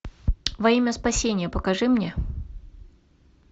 во имя спасения покажи мне